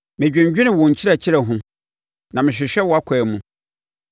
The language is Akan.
Medwendwene wo nkyerɛkyerɛ ho na mehwehwɛ wʼakwan mu.